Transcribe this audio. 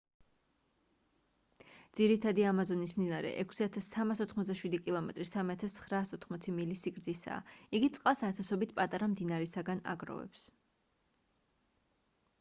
ძირითადი ამაზონის მდინარე 6,387 კმ 3,980 მილი სიგრძისაა. იგი წყალს ათასობით პატარა მდინარისგან აგროვებს